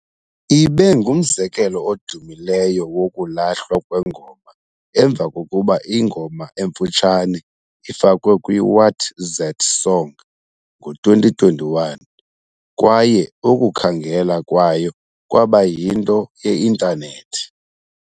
Ibe ngumzekelo odumileyo wokulahlwa kwengoma emva kokuba ingoma emfutshane ifakwe kwi-WatZatSong ngo-2021 kwaye ukukhangela kwayo kwaba yinto ye-Intanethi.